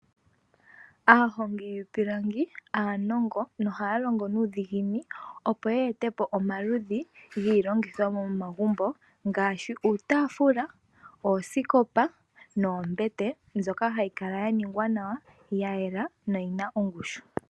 Aahongi yiipilangi aanongo nohaa longo nuudhiginini opo yeetepo omaludhi giilongithomwa yomomagumbo ngaashi uutaafula, oosikopa noombete mbyoka hayi kala yaningwa nawa yayela noyina ongushu.